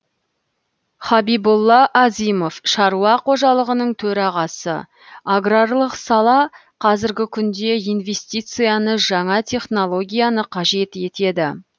хабибулла азимов шаруа қожалығының төрағасы аграрлық сала қазіргі күнде инвестицияны жаңа технологияны қажет етеді